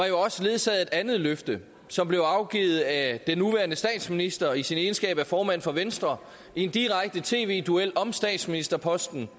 jo også ledsaget af et andet løfte som blev afgivet af den nuværende statsminister i sin egenskab af formand for venstre i en direkte tv duel om statsministerposten